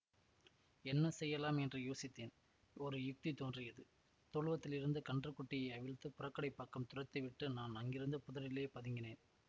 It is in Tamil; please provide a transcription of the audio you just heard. என்ன செய்யலாம் என்று யோசித்தேன் ஒரு யுக்தி தோன்றியது தொழுவத்திலிருந்த கன்று குட்டியை அவிழ்த்து புறக்கடைப் பக்கம் துரத்தி விட்டு நான் அங்கிருந்த புதரிலே பதுங்கினேன்